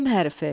M hərfi.